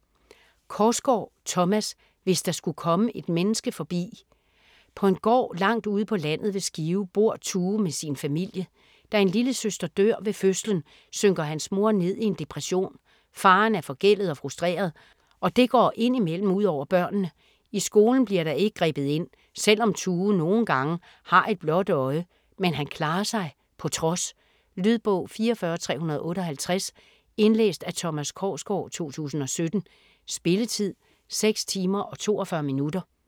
Korsgaard, Thomas: Hvis der skulle komme et menneske forbi På en gård langt ude på landet ved Skive bor Tue med sin familie. Da en lillesøster dør ved fødslen, synker hans mor ned i en depression. Faderen er forgældet og frustreret, og det går ind imellem ud over børnene. I skolen bliver der ikke grebet ind, selvom Tue nogle gange har et blåt øje, men han klarer sig på trods. Lydbog 44358 Indlæst af Thomas Korsgaard, 2017. Spilletid: 6 timer, 42 minutter.